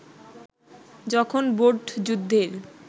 যখন ভোটযুদ্ধের